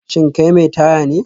Shin kai mai taya ne?